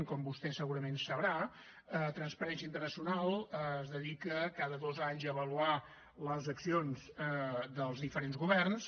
com vostè segurament sabrà transparència internacional es dedica cada dos anys a avaluar les accions dels diferents governs